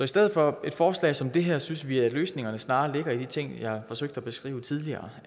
stedet for et forslag som det her synes vi at løsningerne snarere ligger i de ting jeg forsøgte at beskrive tidligere